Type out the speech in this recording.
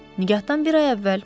Nigahdan bir ay əvvəl.